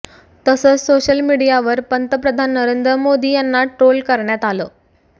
तसंच सोशल मीडियावर पंतप्रधान नरेंद्र मोदी यांना ट्रोल करण्यात आलं